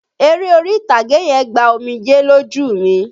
Eré orí-ìtàgé yẹn gba omijẹ́ lójú mi.